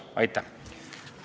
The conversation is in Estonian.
Aitäh!